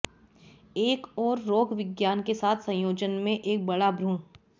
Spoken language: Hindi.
एक और रोगविज्ञान के साथ संयोजन में एक बड़ा भ्रूण